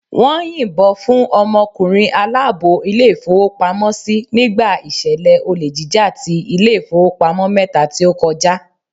Wón yìn bo fún ọmọ ọkùnrin aláàbò Ilé ìfowópamósí nígbà ìṣẹ̀lẹ̀ olè jíjà ti Ilé ìfowópamọ́ mẹ́ta tí ó kọjá